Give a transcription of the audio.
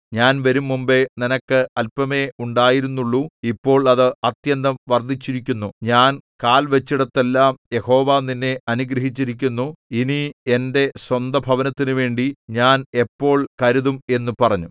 ഞാൻ വരുംമുമ്പെ നിനക്ക് അല്പമേ ഉണ്ടായിരുന്നുള്ളു ഇപ്പോൾ അത് അത്യന്തം വർദ്ധിച്ചിരിക്കുന്നു ഞാൻ കാൽ വച്ചിടത്തെല്ലാം യഹോവ നിന്നെ അനുഗ്രഹിച്ചിരിക്കുന്നു ഇനി എന്റെ സ്വന്തഭവനത്തിനുവേണ്ടി ഞാൻ എപ്പോൾ കരുതും എന്നും പറഞ്ഞു